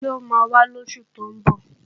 Ṣé ó máa wá lósù tó ń bọ̀?